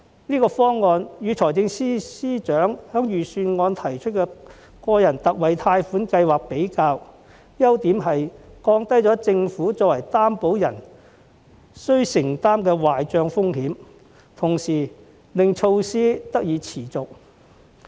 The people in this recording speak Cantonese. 這方案與財政司司長在預算案提出的個人特惠貸款計劃比較，其優點是降低了政府作為擔保人須承擔的壞帳風險，同時令措施得以持續。